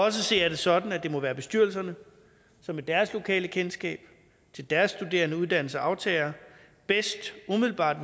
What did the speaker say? at se er det sådan at det må være bestyrelserne som med deres lokale kendskab til deres studerende uddannelser og aftagere umiddelbart